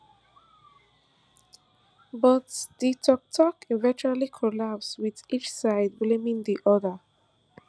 but di tok tok eventually collapse wit each side blaming di oda